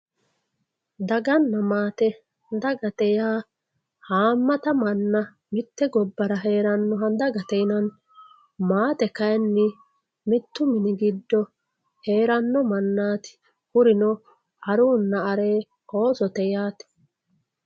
daganna maate dagate yaa haamata manna mitte gobbara heranoha dagate yinanni maate kayiinni mittu mini giddo heeranno mannaati kurino aruunna aree, oosote yaate